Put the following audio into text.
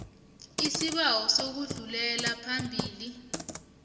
isibawo sokudlulela phambili